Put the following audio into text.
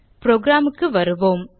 program க்கு வருவோம்